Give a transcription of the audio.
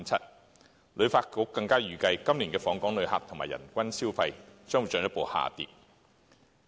香港旅遊發展局更預計，今年的訪港旅客及人均消費將會進一步下跌。